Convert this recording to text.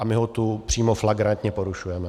A my ho tu přímo flagrantně porušujeme.